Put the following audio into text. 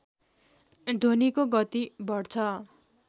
ध्वनिको गति बढ्छ